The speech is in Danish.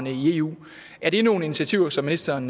i eu er det nogle initiativer som ministeren